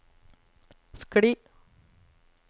skli